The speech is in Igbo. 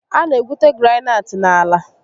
A na egwute granaịtị n'ala